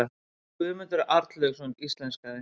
Guðmundur Arnlaugsson íslenskaði.